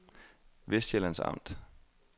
Vestsjællands Amt